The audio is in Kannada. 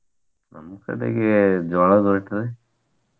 ನಮ್ಮ್ ಕಡೆಗೆ ಜ್ವಾಳದ ರೊಟ್ಟಿರಿ.